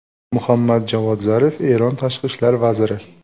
Muhammad Javod Zarif, Eron tashqi ishlar vaziri.